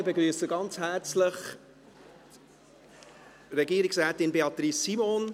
Ich begrüsse ganz herzlich Regierungsrätin Beatrice Simon.